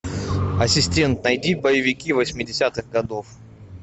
ассистент найди боевики восьмидесятых годов